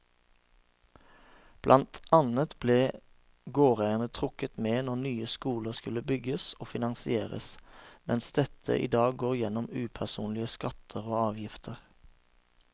Blant annet ble gårdeierne trukket med når nye skoler skulle bygges og finansieres, mens dette i dag går gjennom upersonlige skatter og avgifter.